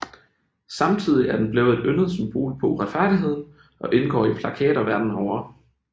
Samtidig er den blevet et yndet symbol på uretfærdigheden og indgår i plakater verden over